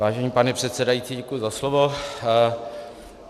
Vážený pane předsedající, děkuji za slovo.